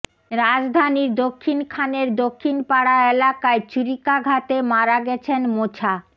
রাজধানীর দক্ষিণখানের দক্ষিণ পাড়া এলাকায় ছুরিকাঘাতে মারা গেছেন মোছা